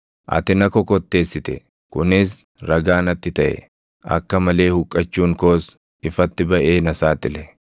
Ati na kokotteessite; kunis ragaa natti taʼe; akka malee huqqachuun koos ifatti baʼee na saaxile.